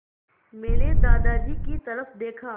मैंने दादाजी की तरफ़ देखा